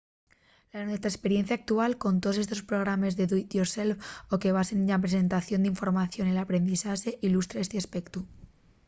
la nuestra esperiencia actual con toos estos programes de do-it-yourself o que se basen na presentación d’información o l’aprendizaxe ilustra esti aspectu